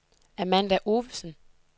Amanda Ovesen